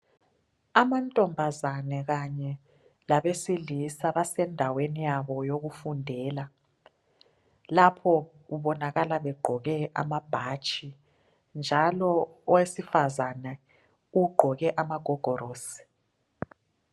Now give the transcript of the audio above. Amantombazane kanye labesilisa basendaweni yabo yokufundela lapho kubonakala begqoke amabhatshi njalo owesifazana ugqoke amagogorosi.